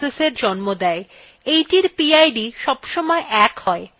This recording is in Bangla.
এইটির pid সবসময় ১ has